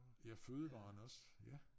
Ja fødevarerne også ja